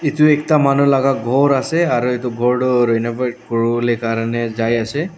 edu ekta manu laka ghor ase aro edu khor toh renovate kuriwolae karni jaiase.